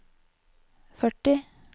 førti